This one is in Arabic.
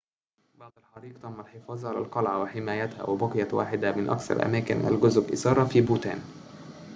بعد الحريق تم الحفاظ على القلعة وحمايتها وبقيت واحدة من أكثر أماكن الجذب إثارةً في بوتان